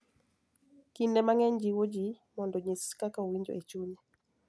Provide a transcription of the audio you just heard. Kinde mang�eny jiwo ji mondo onyis kaka owinjo e chunye,